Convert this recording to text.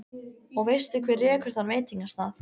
Og veistu hver rekur þann veitingastað?